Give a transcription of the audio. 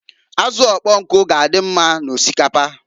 Azụ ụkpọnkụ g'adị mma n'osikapa.